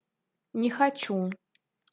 не хочу